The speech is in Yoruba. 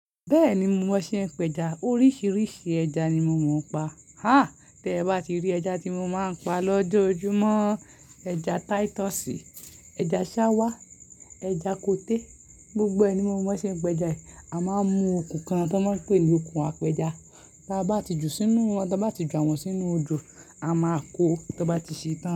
Bẹ́ẹ̀ni, mo mọ bọṣẹ peja, oríṣiríṣi ẹja ni mo mọ pa. Háà! Tẹ bá ti rí ẹja tí mo máa ń pa lọ́jọ́ ojúmọ́, ẹja Titus, ẹja ṣáwá, ẹja kote, gbogbo ẹ̀ ni mo mọ boṣe pẹja e. A máa ń mu okùn kan tí wọ́n ń pè ní okùn apẹja, ta bá ti ju sínú wọn, ta bá ti ju àwọn sínú odo, a máa kó o tọ bá ti ṣe tán.